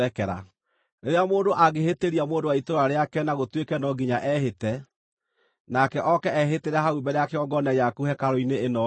“Rĩrĩa mũndũ angĩhĩtĩria mũndũ wa itũũra rĩake na gũtuĩke no nginya ehĩte, nake oke ehĩtĩre hau mbere ya kĩgongona gĩaku hekarũ-inĩ ĩno-rĩ,